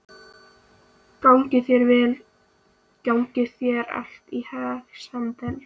Gangi þér allt í haginn, Sandel.